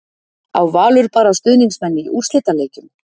Á Valur bara stuðningsmenn í úrslitaleikjum?